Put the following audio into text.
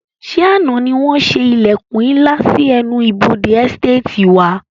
Ṣé àna ni wọn ṣe ilẹkun ńlá sì ẹnu ibodè "Ẹsteetì" wá?